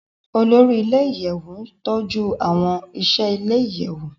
Olori ile-iyẹwu n tọju awọn iṣẹ ile-iyẹwu